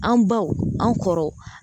An baw an kɔrɔ